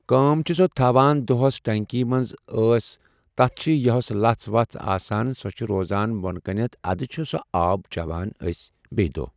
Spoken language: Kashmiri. کٲم سُہ چھِ تھَوان دوٚہَس ٹنٛکی منٛز أسی أسۍ تَتھ چھِ یَۄس لَژھ وَژھ چھِ آسان سۄ چھِ روزان بوٚن کُنَتھ اَدٕ چھُ سُہ آب چٮ۪وان أسۍ بیٚیہِ دۄہ۔